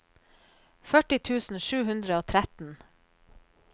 førti tusen sju hundre og tretten